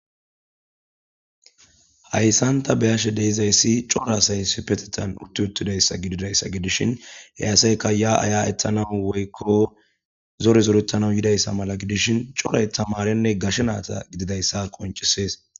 Hayssanta beyashe deizayssi cora asay sipetetan utti uttidayssa gididayssa gidishin he asayka ya aya ethanau woykko zore zorettana yidayssa mala gidishin coray tamarenne gashe naata gididayssa qoncisees.